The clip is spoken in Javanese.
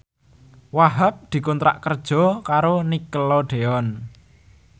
Wahhab dikontrak kerja karo Nickelodeon